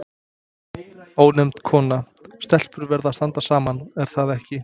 Ónefnd kona: Stelpur verða að standa saman, er það ekki?